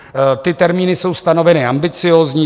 Ty termíny jsou stanoveny ambiciózní.